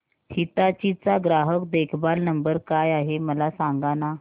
हिताची चा ग्राहक देखभाल नंबर काय आहे मला सांगाना